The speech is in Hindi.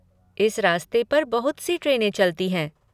इस रास्ते पर बहुत सी ट्रेनें चलती हैं।